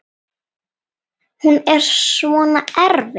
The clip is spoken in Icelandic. Er hún svona erfið?